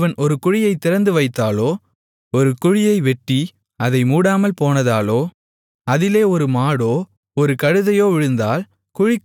ஒருவன் ஒரு குழியைத் திறந்து வைத்ததாலோ ஒரு குழியை வெட்டி அதை மூடாமல் போனதாலோ அதிலே ஒரு மாடோ ஒரு கழுதையோ விழுந்தால்